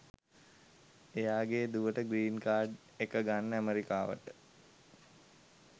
එයාගෙ දුවට green card එක ගන්න ඇමෙරිකාවට